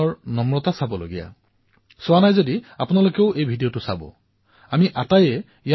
কঠোৰ প্ৰতিদ্বন্ধীতাৰ পিছতো পৰাজয় বৰণ কৰিও তেওঁ নাডালৰ প্ৰশংসা কৰি এজন যোগ্য ক্ৰীড়াবিদৰ পৰিচয় দিছে